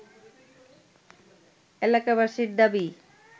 এলাকাবাসীর দাবি